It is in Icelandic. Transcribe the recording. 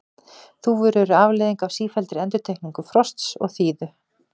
þúfur eru afleiðing af sífelldri endurtekningu frosts og þíðu